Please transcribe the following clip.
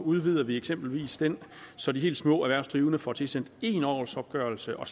udvider vi eksempelvis den så de helt små erhvervsdrivende får tilsendt én årsopgørelse og